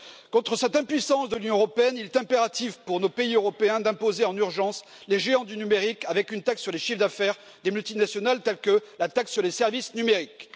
Contre cette impuissance de l'Union européenne, il est impératif pour nos pays européens d'imposer en urgence les géants du numérique, par une taxe sur les chiffres d'affaires des multinationales telle que la taxe sur les services numériques.